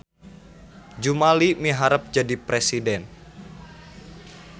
Jumali miharep jadi presiden